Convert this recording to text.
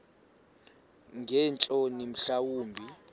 ngeentloni mhla wumbi